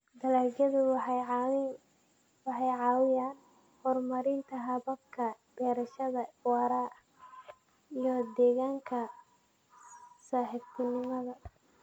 Dalagyadu waxay caawiyaan horumarinta hababka beerashada waara iyo deegaanka saaxiibtinimo.